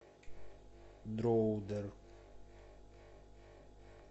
дроудер